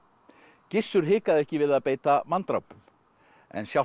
Gissur hikaði ekki við að beita manndrápum en sjálft